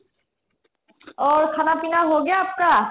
aur খানা pina ho গায়া aapka